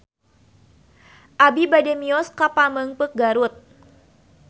Abi bade mios ka Pamengpeuk Garut